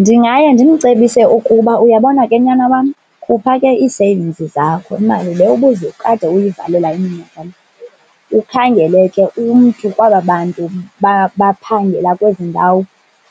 Ndingaye ndimcebise ukuba, uyabona ke nyana wam khupha ke ii-savings zakho, imali le ubuze ukade uyivalela iminyaka le. Ukhangele ke umntu kwaba bantu baphangela kwezi ndawo